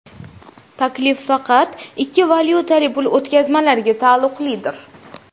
Taklif faqat ikki valyutali pul o‘tkazmalariga taalluqlidir.